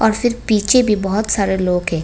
तो फिर पीछे भी बहुत सारा लोग है।